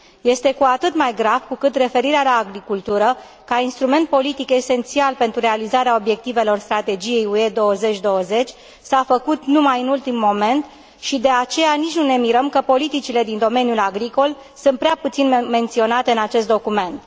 Este cu atât mai grav cu cât referirea la agricultură, ca instrument politic esențial pentru realizarea obiectivelor Strategiei UE 2020, s a făcut numai în ultimul moment și, de aceea, nici nu ne mirăm că politicile din domeniul agricol sunt prea puțin menționate în acest document.